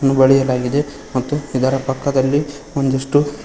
ಬಳಿಯಲಾಗಿದೆ ಮತ್ತು ಇದರ ಪಕ್ಕದಲ್ಲಿ ಒಂದಿಷ್ಟು--